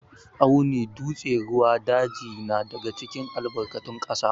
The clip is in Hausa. Tsauni, dutse, ruwa, daji na daga cikin albarkatun ƙasa.